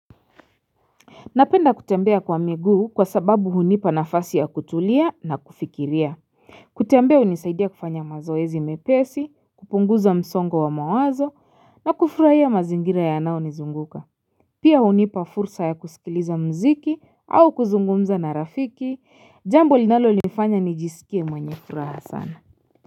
Napenda kutembea kwa miguu kwa sababu hunipa nafasi ya kutulia na kufikiria. Kutembea hunisaidia kufanya mazoezi mepesi, kupunguza msongo wa mawazo na kufurahia mazingira yanao nizunguka. Pia hunipa fursa ya kusikiliza mziki au kuzungumza na rafiki, jambo linalonifanya nijisikie mwenye furaha sana.